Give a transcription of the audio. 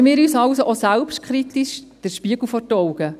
Halten wir uns also auch selbstkritisch den Spiegel vor.